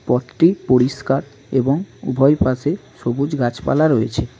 পথটি পরিষ্কার এবং উভয় পাশে সবুজ গাছপালা রয়েছে।